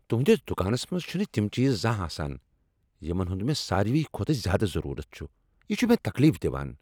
تہنٛدس دکانس منٛز چِھنہٕ تم چیز زانہہ آسان یمن ہُند مےٚ ساروی کھوتہٕ زیادٕ ضرورت چھُ۔ یِہ چھ مےٚ تکلیف دوان۔